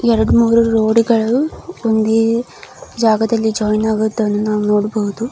ಎರಡು ಮೂರು ರೋಡ್ಗಳು ಒಂದೇ ಜಾಗದಲ್ಲಿ ಜಾಯಿನ್ ಆಗುವುದನ್ನು ನಾವು ನೋಡಬಹುದು.